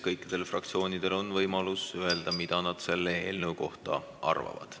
Kõikidel fraktsioonidel on võimalus öelda, mida nad selle eelnõu kohta arvavad.